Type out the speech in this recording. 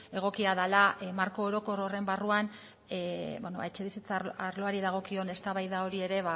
egokia dela marko orokor horren barruan etxebizitza arloari dagokion eztabaida hori ere